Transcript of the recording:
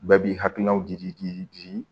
Bɛɛ b'i hakilinaw di di